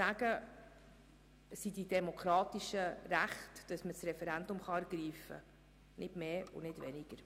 Es ist ein demokratisches Recht, das Referendum zu ergreifen – nicht mehr und nicht weniger.